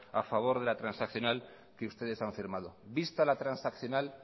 a favor de la transaccional que ustedes han firmado vista la transaccional